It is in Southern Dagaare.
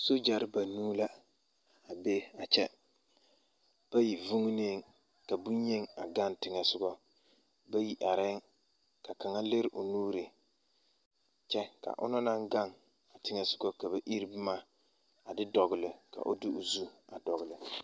Soogyɛre banuu la a be a kyɛ bayi vuuneeŋ ka bonyeni a gaŋ teŋɛsogɔ bayi arɛɛŋ ka kaŋa lere o nuuri kyɛ ka o na naŋ gaŋ a teŋɛsogɔ ka ba iri boma a de dɔgle ka o iri o zu a de dɔgle.